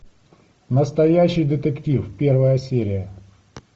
настоящий детектив первая серия